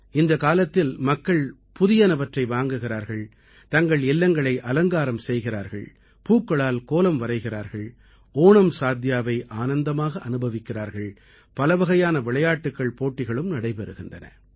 இந்தக் காலத்தில் மக்கள் புதியனவற்றை வாங்குகிறார்கள் தங்கள் இல்லங்களை அலங்காரம் செய்கிறார்கள் பூக்களால் கோலம் வரைகிறார்கள் ஓணம் சாத்யாவை ஆனந்தமாக அனுபவிக்கிறார்கள் பலவகையான விளையாட்டுக்கள்போட்டிகளும் நடைபெறுகின்றன